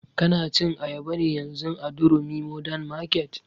Ka na cin ayaba ne yanzun a durumi modern market?